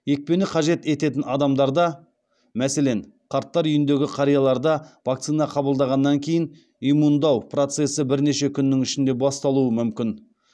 екпені қажет ететін адамдарда мәселен қарттар үйіндегі қарияларда вакцина қабылдағаннан кейін иммундау процесі бірнеше күннің ішінде басталуы мүмкін